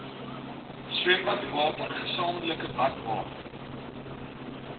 swembadwater gesamentlike badwater